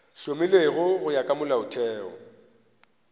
hlomilwego go ya ka molaotheo